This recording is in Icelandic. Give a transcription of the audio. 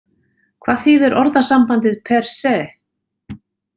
Hvað þýðir orðasambandið per se?